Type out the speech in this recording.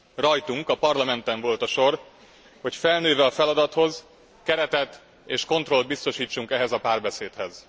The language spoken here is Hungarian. Rajtunk, a Parlamenten volt a sor, hogy felnőve a feladathoz keretet és kontrollt biztosítsunk ehhez a párbeszédhez.